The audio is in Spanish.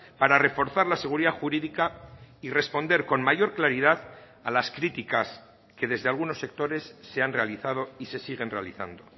para reforzar la seguridad jurídica y responder con mayor claridad a las críticas que desde algunos sectores se han realizado y se siguen realizando